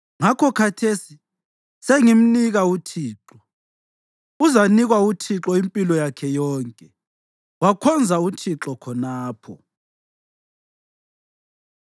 Ngakho khathesi sengimnika uThixo. Uzanikwa uThixo impilo yakhe yonke.” Wakhonza uThixo khonapho.